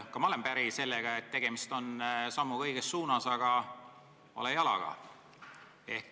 Ka mina olen päri sellega, et tegemist on sammuga õiges suunas, aga vale jalaga.